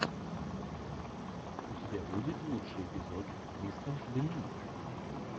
у тебя будет лучший эпизод кристен доминик